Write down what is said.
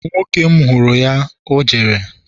nwoke m huru ya, o jere?